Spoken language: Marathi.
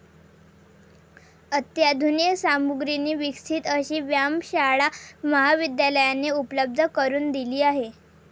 अत्याधुनिक सामुग्रीने विकसित अशी व्यायामशाळा महाविद्यालयाने उपलब्ध करून दिली आहे.